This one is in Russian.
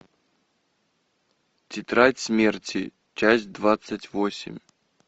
тетрадь смерти часть двадцать восемь